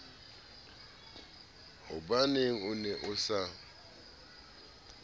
hobaneng o ne o sa